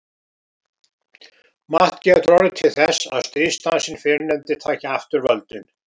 Margt getur orðið til þess að stríðsdansinn fyrrnefndi taki aftur völdin.